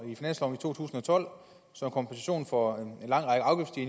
tolv som kompensation for